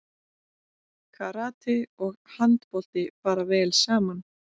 Karate og handbolti fara vel saman